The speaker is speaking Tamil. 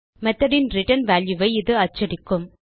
methodன் ரிட்டர்ன் வால்யூ ஐ இது அச்சடிக்கும்